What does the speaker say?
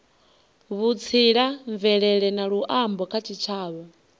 vhutsila mvelele na luambo kha tshitshavha